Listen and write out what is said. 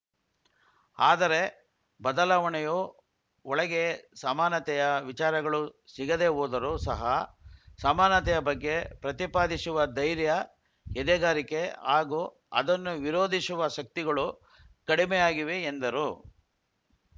ಆದರೆ ಬದಲಾವಣೆಯು ಒಳಗೆ ಸಮಾತನೆಯ ವಿಚಾರಗಳು ಸಿಗದೆ ಹೋದರು ಸಹ ಸಮಾತನೆಯ ಬಗ್ಗೆ ಪ್ರತಿಪಾದಿಸುವ ಧೈರ್ಯ ಎದೆಗಾರಿಕೆ ಹಾಗೂ ಅದನ್ನು ವಿರೋಧಿಸುವ ಶಕ್ತಿಗಳು ಕಡಿಮೆಯಾಗಿವೆ ಎಂದರು